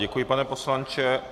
Děkuji, pane poslanče.